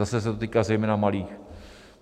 Zase se to týká zejména malých.